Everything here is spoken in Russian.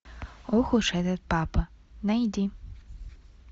ох уж этот папа найди